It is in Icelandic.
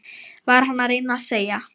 Var hann að reyna að segja